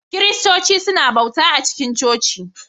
Kiristoci suna bauta a cikin coci